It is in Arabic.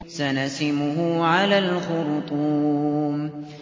سَنَسِمُهُ عَلَى الْخُرْطُومِ